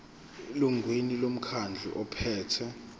elungwini lomkhandlu ophethe